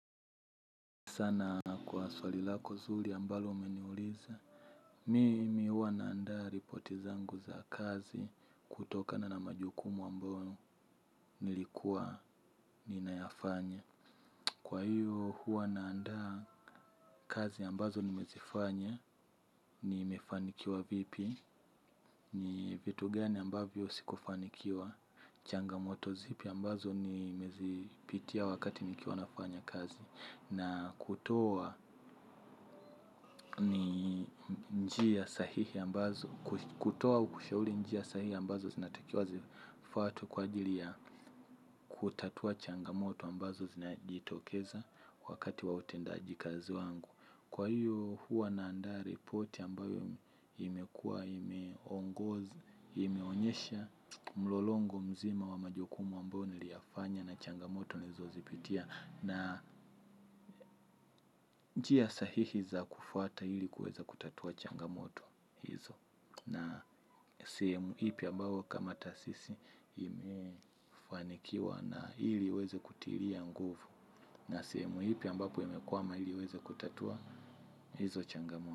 Sana kwa swali lako zuri ambalo umeniuliza. Mimi huwa naandaa ripoti zangu za kazi kutokana na majukumu ambayo nilikuwa ninayafanya. Kwa hiyo huwa naandaa kazi ambazo nimezifanya, ni mefanikiwa vipi, ni vitu gani ambavyo sikufanikiwa, changamoto zipi ambazo ni mezipitia wakati nikiwa nafanya kazi. Na kutowa ni njia sahihi ambazo, kutowa au kushauli njia sahihi ambazo zinatakiwa zifuatwe kwa ajili ya kutatua changamoto ambazo zinajitokeza wakati wa utendaji kazi wangu. Kwa hiyo huwa na anda repoti ambayo imekua, imeongoza imeonyesha, mlolongo mzima wa majukumu ambayo niliyafanya na changamoto nilizozipitia. Na njia sahihi za kufuata ili kuweza kutatua changamoto hizo na sehemu ipi ambayo kama taasisi imefanikiwa na ili uweze kutiria nguvu. Na sehemu ipi ambapo imekuama ili uweze kutatua hizo changamoto.